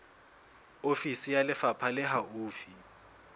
ofisi ya lefapha le haufi